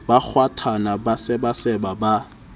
ba kgwathana ba sebaseba ba